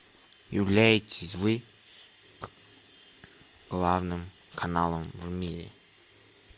являетесь вы главным каналом в мире